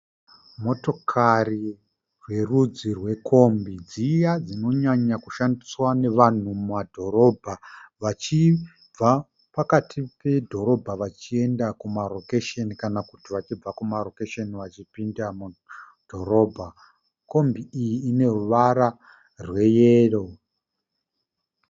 Motokari yerudzi rwekombi dziya dzinonyanya kushandiswa nevanhu mumadhorobha vachibva pakati pedhorobha vachienda kumarokesheni kana kuti vachibva kumarokesheni vachipinda mudhorobha. Kombi iyi ine ruvara rweyero.